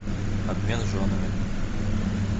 обмен женами